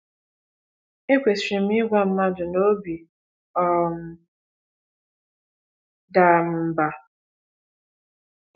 EKwesịrị m Ịgwa Mmadụ na obi um dara m mba?